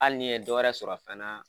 Hali ni ye dɔ wɛrɛ sɔrɔ fana